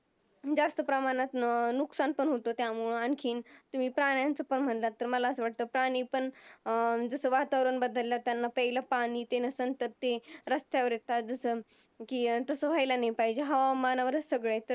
जास्त प्रमाणात नुकसान पण होतं त्याच्यामुळं आणखीन तुम्ही प्राण्यांचं पण म्हणालात तर मला असं वाटतं, अं जसं वातावरण बदललं, त्यांना प्यायला पाणी नसतं ते रस्त्यावर असतात जसं तसं व्हायला नाही पाहिजे, हवामानावरच सगळं आहे तर